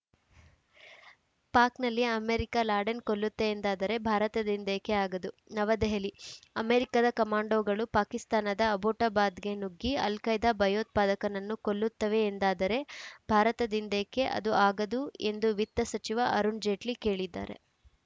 ಪಾಕ್‌ನಲ್ಲಿ America Laden ಕೊಲ್ಲುತ್ತೆ ಎಂದಾದರೆ ಭಾರತದಿಂದೇಕೆ ಆಗದು ನವದೆಹಲಿ ಅಮೆರಿಕದ ಕಮಾಂಡೋಗಳು ಪಾಕಿಸ್ತಾನದ ಅಬೋಟಾಬಾದ್‌ಗೆ ನುಗ್ಗಿ ಅಲ್‌ಖೈದಾ ಭಯೋತ್ಪಾದಕನನ್ನು ಕೊಲ್ಲತ್ತವೆ ಎಂದಾದರೆ ಭಾರತದಿಂದೇಕೆ ಅದು ಆಗದು ಎಂದು ವಿತ್ತ ಸಚಿವ ಅರುಣ್‌ ಜೇಟ್ಲಿ ಕೇಳಿದ್ದಾರೆ